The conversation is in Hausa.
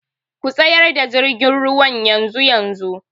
Ku tsayar da jirgin ruwan yanzu-yanzu!.